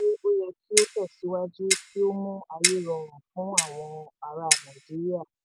mo ní ìgbàgbọ́ pé ó yẹ kí ó tẹ̀síwájú kí ó mú ayé rọrùn fún àwọn ará nàìjíríà.